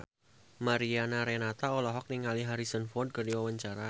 Mariana Renata olohok ningali Harrison Ford keur diwawancara